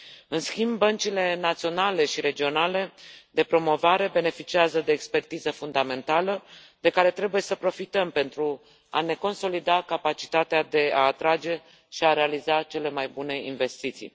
În schimb, băncile naționale și regionale de promovare beneficiază de expertiză fundamentală, de care trebuie să profităm pentru a ne consolida capacitatea de a atrage și a realiza cele mai bune investiții.